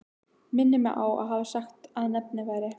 Mig minnir að hann hafi sagt að nafnið væri